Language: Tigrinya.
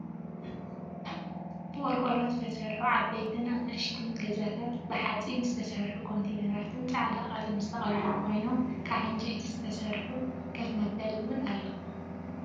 ብቆርቆሮ ዝተሰርሑ ዓበይቲ ኣናእሽተይን ገዛታትን ብሓፂን ዝተሰሩሑ ኮንትነራትን ፃዕዳ ቀለም ዝተቀለሙ ኮይኖም ካብ ዕንጨይቲ ዝተሰርሑ ከፍ መበሊ እውን ኣሎ ።